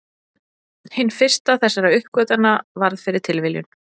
hin fyrsta þessara uppgötvana varð fyrir tilviljun